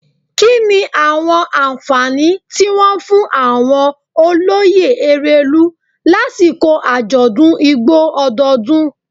Kini awọn anfani ti wọn fun awọn oloye Erelu lasiko ajọdun Igbo ọdọọdun?